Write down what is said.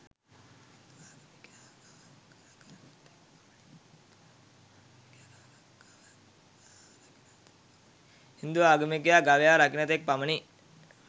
හින්දු ආගමිකයා ගවයා රකින තෙක් පමණි.